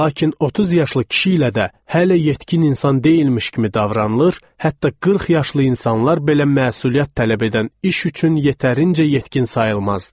Lakin 30 yaşlı kişi ilə də hələ yetkin insan deyilmiş kimi davranılır, hətta 40 yaşlı insanlar belə məsuliyyət tələb edən iş üçün yetərincə yetkin sayılmazdılar.